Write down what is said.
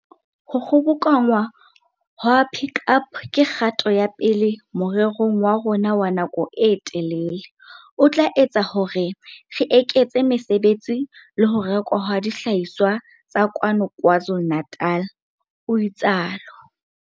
Ho kgobokanngwa ha Pik Up ke kgato ya pele morerong wa rona wa nako e telele, o tla etsa hore re eketse mesebetsi le ho rekwa ha dihlahiswa tsa kwano KwaZulu-Natal, o itsalo.